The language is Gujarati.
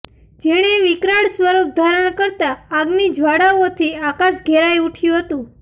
જેણે વિકરાળ સ્વરુપ ધારણ કરતાં આગની જ્વાળાઓથી આકાશ ઘેરાઈ ઉઠ્યું હતું